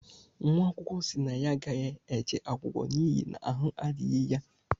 nwaakwụkwọ si na ya agaghi-eje akwụkwọ n’ihi na ahụ adighi ya